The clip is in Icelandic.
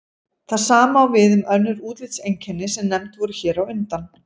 Það sama á við um önnur útlitseinkenni sem nefnd voru hér á undan.